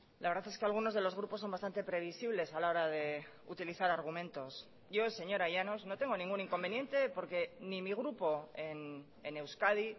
la verdad es que algunos de los grupos son bastante previsibles a la hora de utilizar argumentos yo señora llanos no tengo ningún inconveniente porque ni mi grupo en euskadi